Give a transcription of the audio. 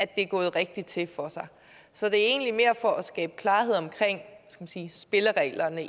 det er gået rigtigt for sig så det er egentlig mere for at skabe klarhed om spillereglerne